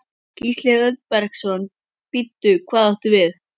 Gísli Auðbergsson: Bíddu, hvað áttu við?